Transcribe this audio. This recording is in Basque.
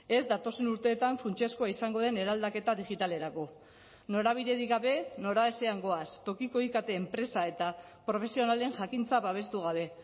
ez datozen urteetan funtsezkoa izango den eraldaketa digitalerako norabiderik gabe noraezean goaz tokiko ikt enpresa eta profesionalen jakintza babestu gabe